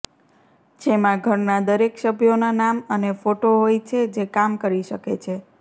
જેમાં ઘરના દરેક સભ્યોના નામ અને ફોટો હોય છે જે કામ કરી શકે છે